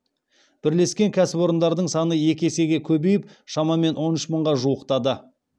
бірлескен кәсіпорындардың саны екі есеге көбейіп шамамен он үш мыңға жуықтады